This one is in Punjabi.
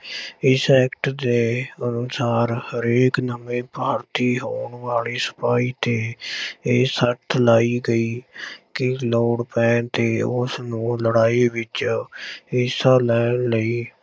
ਇਸ act ਦੇ ਅਨੁਸਾਰ ਹਰੇਕ ਨਵੇਂ ਭਰਤੀ ਹੋਣ ਵਾਲੇ ਸਿਪਾਹੀ ਤੇ ਇਹ ਸਰਤ ਲਾਈ ਗਈ ਕਿ ਲੋੜ ਪੈਣ ਤੇੇ ਉਸਨੂੰ ਲੜਾਈ ਵਿੱਚ ਹਿੱਸਾ ਲੈਣ ਲਈ,